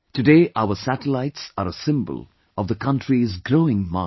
Today our satellites are a symbol of the country's growing might